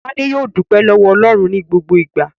Tádé yóò dúpẹ́ lọ́wọ́ Ọlọ́run ní gbogbo ìgbà.